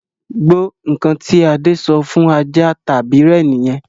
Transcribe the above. Gbó! Ǹkan tí Adé ṣọ fún ajá tàbí rẹ̀ nìyẹn